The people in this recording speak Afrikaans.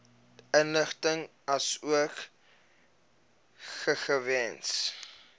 inligting asook gegewens